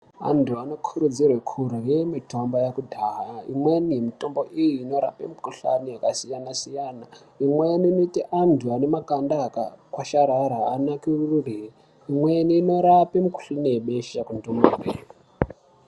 Antu anokurudzirwa kurya mitombo yekudhaya imweni yemitombo iyi inorapa mikuhlani yakasiyana-siyana imweni inoita antu ane makanda akakwasharara anakirire imweni inorapa mikuhlani yebesha kundumure.